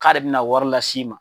K'ale bɛna warilas'i ma.